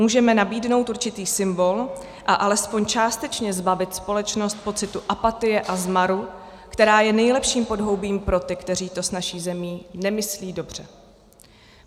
Můžeme nabídnout určitý symbol a aspoň částečně zbavit společnost pocitu apatie a zmaru, která je nejlepším podhoubím pro ty, kteří to s naší zemí nemyslí dobře.